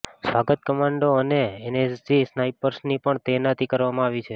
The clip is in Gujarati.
સ્વાત કમાન્ડો અને એનએસજી સ્નાઈપર્સની પણ તૈનાતી કરવામા આવી છે